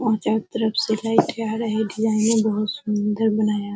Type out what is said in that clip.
और चारों तरफ से लाइटे आ रही। डिजाइने बोहोत सुंदर बनाया --